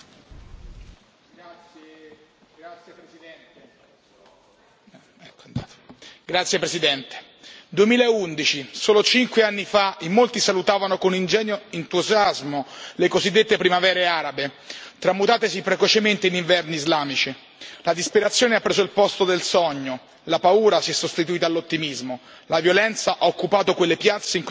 Signora Presidente, onorevoli colleghi, 2011 solo cinque anni fa in molti salutavano con ingenuo entusiasmo le cosiddette primavere arabe tramutatesi precocemente in inverni islamici. La disperazione ha preso il posto del sogno, la paura si è sostituita all'ottimismo, la violenza ha occupato quelle piazze in cui prima si manifestava pacificamente.